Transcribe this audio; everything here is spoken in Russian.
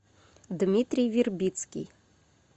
дмитрий вербицкий